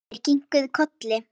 Þeir kinkuðu kolli.